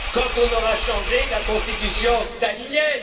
qu'on ait changé la Constitution stalinienne.